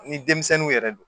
Ni denmisɛnninw yɛrɛ do